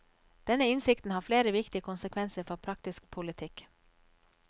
Denne innsikten har flere viktige konsekvenser for praktisk politikk.